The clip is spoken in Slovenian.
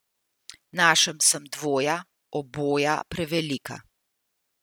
Našel sem dvoja, oboja prevelika.